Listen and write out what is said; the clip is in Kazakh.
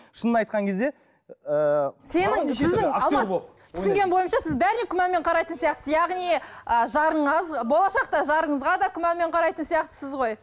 шынын айтқан кезде ыыы сенің жүзің алмас түсінгенім бойынша сіз бәріне күмәнмен қарайтын сияқтысыз яғни ы болашақта жарыңызға да күмәнмен қарайтын сияқтысыз ғой